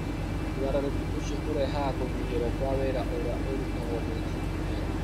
Ũgarũrũku ũcio ũrehaga kũnyihĩrũo kwa wĩra ũrĩa ũrutagwo nĩ jini ĩyo.